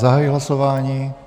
Zahajuji hlasování.